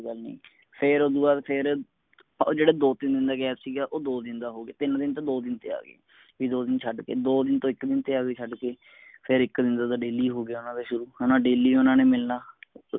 ਗੱਲ ਨੀ ਫੇਰ ਉਸਤੋਂ ਬਾਦ ਫੇਰ ਆ ਜੇਡੇ ਦੋ ਤਿਨ ਦਾ gap ਸੀ ਉਹ ਦੋ ਦਿਨ ਦਾ ਹੋਗਿਆ ਤਿਨ ਦਿਨ ਤੋਂ ਦੋ ਦਿਨ ਤੇ ਆਗੇ ਬੀ ਦੋ ਦਿਨ ਛੱਡ ਕੇ ਦੋ ਦਿਨ ਤੋਂ ਇਕ ਦਿਨ ਤੇ ਆਗੇ ਛੱਡ ਕੇ ਫੇਰ ਇਕ ਦਿਨ ਤੋਂ ਤਾ daily ਹੋਗਿਆ ਓਹਨਾ ਦਾ ਸ਼ੁਰੂ ਹੈਨਾ daily ਓਹਨਾ ਨੇ ਮਿਲਣਾ